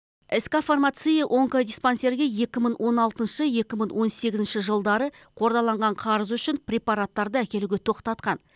ск фармация онкодиспансерге екі мың он алтыншы екі мың он сегізінші жылдары қордаланған қарызы үшін препараттарды әкелуге тоқтатқан